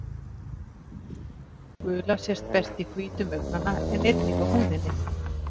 Gula sést best í hvítum augnanna en einnig á húðinni.